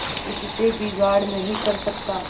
उससे बिगाड़ नहीं कर सकता